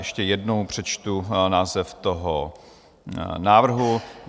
Ještě jednou přečtu název toho návrhu.